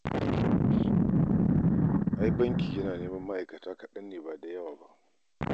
Ai bankin yana neman ma'aikata kadan ne ba da yawa ba